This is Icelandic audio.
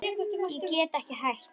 Get ekki hætt.